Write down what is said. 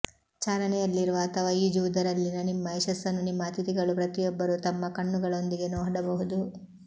ಚಾಲನೆಯಲ್ಲಿರುವ ಅಥವಾ ಈಜುವುದರಲ್ಲಿನ ನಿಮ್ಮ ಯಶಸ್ಸನ್ನು ನಿಮ್ಮ ಅತಿಥಿಗಳು ಪ್ರತಿಯೊಬ್ಬರು ತಮ್ಮ ಕಣ್ಣುಗಳೊಂದಿಗೆ ನೋಡಬಹುದು